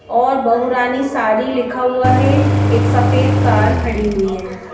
और बहु रानी सारी लिखा हुआ है। एक सफेद कार खड़ी हुई है।